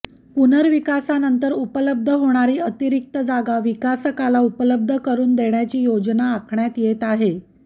पुनर्विकासानंतर उपलब्ध होणारी अतिरिक्त जागा विकासकाला उपलब्ध करून देण्याची योजना आखण्यात येत आहे